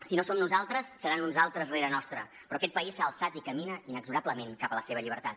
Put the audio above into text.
si no som nosaltres seran uns altres rere nostre però aquest país s’ha alçat i camina inexorablement cap a la seva llibertat